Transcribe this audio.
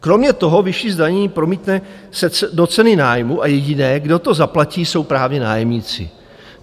Kromě toho vyšší zdanění promítne se do ceny nájmu, a jediné, kdo to zaplatí, jsou právě nájemníci.